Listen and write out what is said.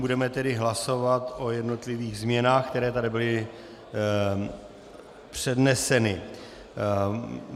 Budeme tedy hlasovat o jednotlivých změnách, které tady byly předneseny.